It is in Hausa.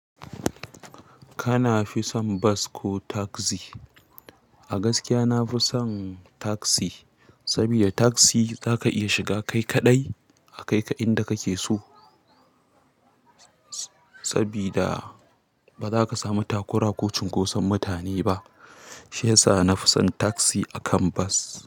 Kana fi son bus ko taxi? A gaskiya nafi son taxi, sabida taxi zaka iya shiga kai kaɗai a kai ka inda kake so, sabida bazaka samu takura ko cunkoson mutane ba. Shi yasa nafi son taxi a kan bus.